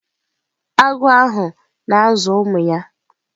Agụ ahụ na-azụ ụmụ ya.